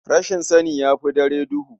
Rashin sani ya fi dare duhu.